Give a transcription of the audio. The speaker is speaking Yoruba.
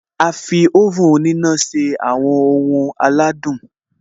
A fi oven òníná se àwọn ohun aládùn